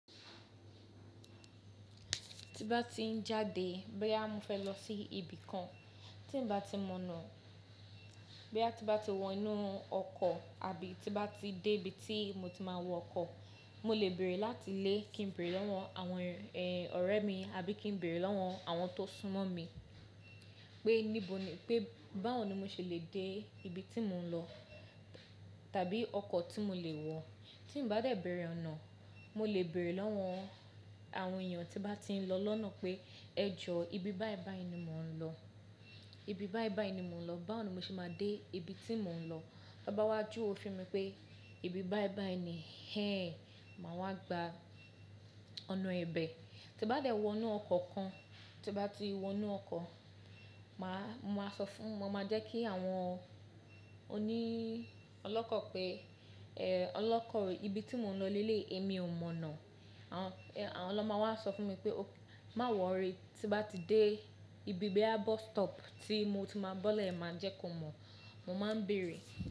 Tí bá ti ń jáde bóyá fẹ́ lọ sí ibì kan, tí bá ti mọ̀nà bí a ti bá ti wọ inú ọkọ̀ àbí tí bá ti dé ibi tí mo ti máa wọ ọkọ̀, mo lè bèrè láti ilé kí n bèrè lọ́wọ́ àwọn ẹ, ọ̀rẹ́ mi àbí kí n bèrè lọ́wọ́ àwọn tó súnmọ́ mi pé níbo ni, pé báwo ni mo ṣe lè dé ibi tí mò ń lọ tàbí ọkọ̀ tí mo lè wọ̀. Tí n bá dè bèrè ọ̀nà, mo lè bèrè lọ́wọ́ àwọn èèyàn tí bá ti ń lọ lọ́nà pé ẹjọ́ ibi báì báì ni mò ń lọ, ibi báì báì ni mò ń lọ, báwo ni mo ṣe máa dé ibi tí mò ń lọ. Tí wón bá wá júwe fún mi pé ibi báì báì ni, hẹ́n! Máa wá gba ọ̀nà ibẹ̀. Tí n bá dé wọ inú ọkọ̀ kan, tí n bá ti wọ inú ọkọ̀, mà á, mo máa sọ fún, mo máa jẹ́ kí àwọn òní ọlọ́kọ̀ pé, ẹ, ọlọ́kọ̀ ibi tí mò ń lọ lé lé èmi ò mọ̀nà. Àwọn, ẹ, àwọn ná máa wá máa sọ fún mi pé, má wọ̀ rí, tí n bá ti dé ibi bí i bus stop tí mo ti máa bọ́lẹ̀ ẹ máa jẹ́ kó mọ̀. Mo máa ń bèrè.